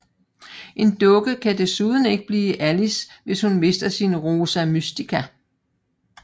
En dukke kan desuden ikke blive til Alice hvis hun mister sin Rosa Mystica